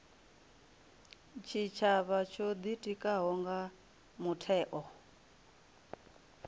tshitshavha tsho ḓitikaho nga mutheo